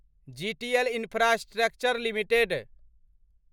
GTL infrastructure limited